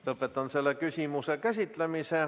Lõpetan selle küsimuse käsitlemise.